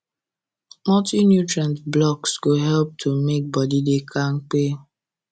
multi-nutrient blocks go help to make body da kampe